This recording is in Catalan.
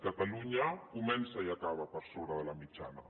catalunya comença i acaba per sobre de la mitjana